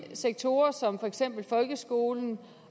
sektorer som for eksempel folkeskolen